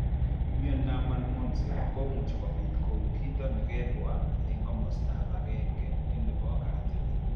Miondop malmoense komuchi kobit kou kiit nekebwa eng' komasta agenge nebo katit